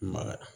Ma